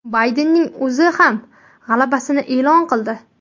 Baydenning o‘zi ham g‘alabasini e’lon qildi.